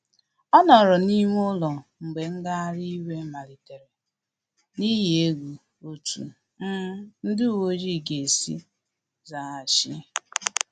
Ọ nọrọ n’ime ụlọ mgbe ngagharị iwe malitere, n’ihi egwu otú um ndị uweojii ga-esi zaghachi